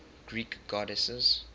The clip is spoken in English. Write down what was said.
greek goddesses